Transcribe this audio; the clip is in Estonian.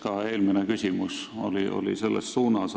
Ka eelmine küsimus oli selles suunas.